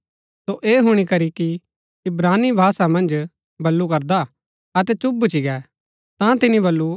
सो ऐह हुणी करी ही कि इब्रानी भाषा मन्ज बल्लू करदा अतै चुप भूच्ची गै ता तिनी बल्लू